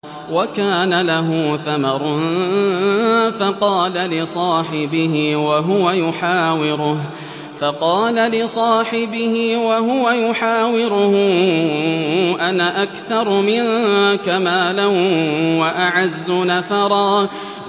وَكَانَ لَهُ ثَمَرٌ فَقَالَ لِصَاحِبِهِ وَهُوَ يُحَاوِرُهُ أَنَا أَكْثَرُ مِنكَ مَالًا وَأَعَزُّ نَفَرًا